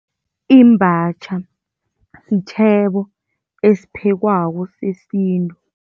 Imbatjha sitjhebo esiphekwako sesintu.